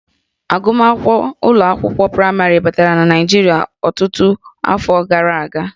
Agụmakwụkwọ ụlọ akwụkwọ praịmarị batara na Naịjirịa ọtụtụ iri afọ gara aga